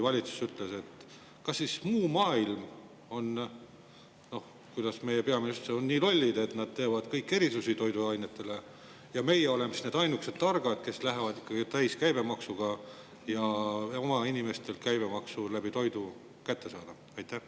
Kas siis muu maailm, kas siis teised peaministrid on nii lollid, et nad teevad kõik erisusi toiduainete puhul, ja meie oleme need ainukesed targad, kes lähevad ikkagi edasi täis, et oma inimestelt käibemaks ka kallima toidu kaudu kätte saada?